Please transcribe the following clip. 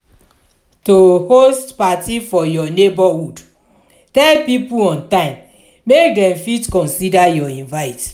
to host parti for your neighborhood tell pipo on time make dem fit consider your invite